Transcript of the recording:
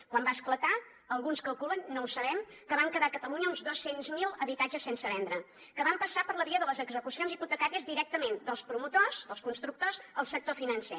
quan va esclatar alguns calculen no ho sabem que van quedar a catalunya uns dos cents miler habitatges sense vendre que van passar per la via de les execucions hipotecàries directament dels promotors dels constructors al sector financer